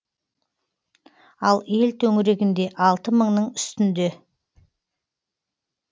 ал ел төңірегінде алты мыңның үстінде